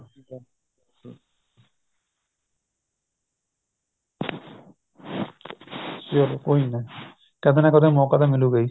ਚਲੋ ਕੋਈ ਨਾ ਕਦੇ ਨਾ ਕਦੇ ਤਾਂ ਮੋਕਾ ਮਿਲੁਗਾ ਈ